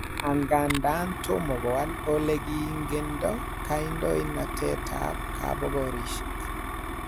Angadan tomo kowal ole kingendo kandoinatetab kabogorisiek.